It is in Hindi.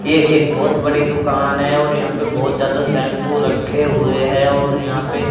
ये एक बहोत बड़ी दुकान है और यहां पे बहोत ज्यादा शैम्पू रखे हुए है और यहां पे--